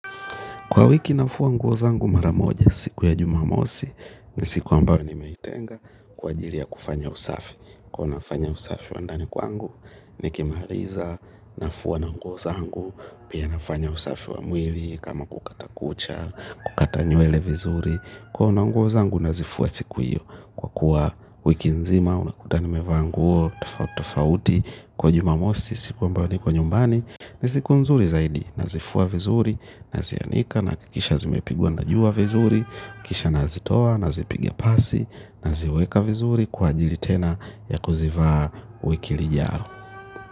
Kwa wiki nafua nguo zangu mara moja siku ya jumamosi ni siku ambayo nimeitenga kwa ajili ya kufanya usafi. Kwa nafanya usafi wa ndani kwangu nikimaliza nafua na nguo zangu pia nafanya usafi wa mwili kama kukata kucha, kukata nywele vizuri. Kuona nguo zangu nazifua siku hiyo kwa kuwa wiki nzima unakuta nimevaa nguo, tofauti tofauti kwa jumamosi siku ambayo niko nyumbani ni siku nzuri zaidi. Nazifua vizuri, nazianika nahakikisha zimepigwa na jua vizuri kisha nazitoa, nazipiga pasi, naziweka vizuri kwa ajili tena ya kuzivaa wiki lijao.